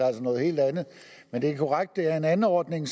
er noget helt andet men det er korrekt at det er en anordning